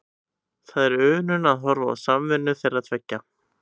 Það er unun að horfa á samvinnu þeirra tveggja.